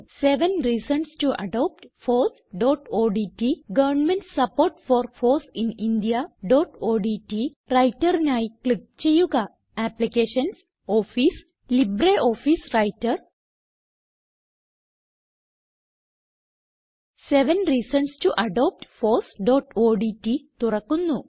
seven reasons to adopt fossഓഡ്റ്റ് government support for foss in indiaഓഡ്റ്റ് Writerനായി ക്ലിക്ക് ചെയ്യുക applications office LibreOffice writer seven reasons to adopt fossഓഡ്റ്റ് തുറക്കുന്നു